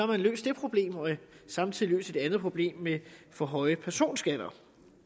man løst det problem og samtidig løst et andet problem med for høje personskatter